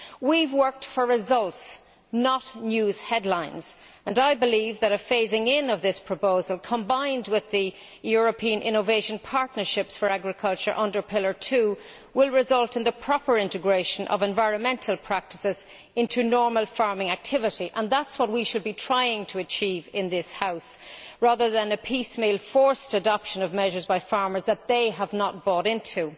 We have worked for results, not news headlines, and I believe that a phasing in of this proposal, combined with the European innovation partnerships for agriculture under Pillar Two, will result in the proper integration of environmental practices into normal farming activity, and that is what we should be trying to achieve in this House, rather than a piecemeal forced adoption by farmers of measures that they have not bought into.